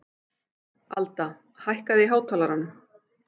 Alda, hækkaðu í hátalaranum.